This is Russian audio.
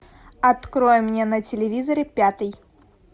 открой мне на телевизоре пятый